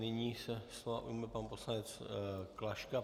Nyní se slova ujme pan poslanec Klaška.